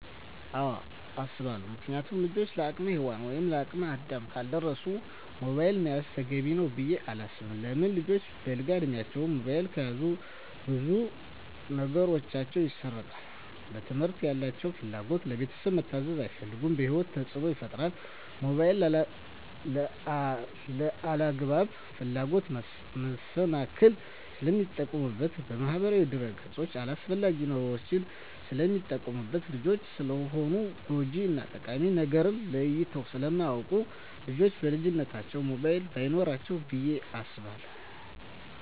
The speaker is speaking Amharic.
አወ አሰባለው ምክንያቱም ልጆች ለአቅመ ሄዋን ወይም ለአቅመ አዳም ካልደረሱ ሞባይል መያዝ ተገቢ ነው ብዬ አላስብም። ለምን ልጆች በለጋ እድማቸው ሞባይል ከያዙ ብዙ ነገራቸው ይሰረቃል ለትምህርት ያላቸው ፍላጎት, ለቤተሰብ መታዘዝ አይፈልጉም በህይወታቸው ተፅዕኖ ይፈጥራል ሞባይልን ለአላግባብ ፍላጎት መሰናክል ስለሚጠቀሙበት በማህበራዊ ድረ-ገፅ አላስፈላጊ ነገሮች ስለሚጠቀሙበት። ልጆች ስለሆኑ ጎጅ እና ጠቃሚ ነገርን ለይተው ስለማያወቁ ልጆች በልጅነታቸው ሞባይል በይኖራቸው ብዬ አስባለሁ።